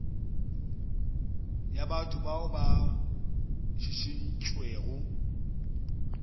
ya batho bao ba šišintšwego